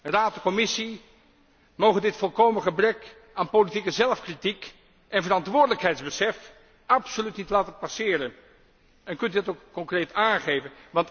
De Raad en de Commissie mogen dit volkomen gebrek aan politieke zelfkritiek en verantwoordelijkheidsbesef absoluut niet laten passeren! Kunt u dat ook concreet aangeven?